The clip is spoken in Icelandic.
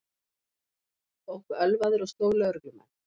Ók ölvaður og sló lögreglumenn